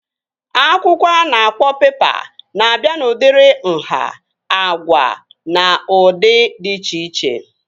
Akwụkwọ a na-akpọ pepa na-abịa n'udiri nhá, agwa na ụdị dị iche iche